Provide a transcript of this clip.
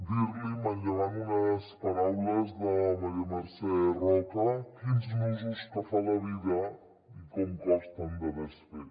dir li manllevant unes paraules de maria mercè roca quins nusos que fa la vida i com costen de desfer